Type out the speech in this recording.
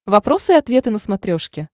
вопросы и ответы на смотрешке